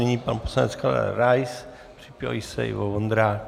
Nyní pan poslanec Karel Rais, připraví se Ivo Vondrák.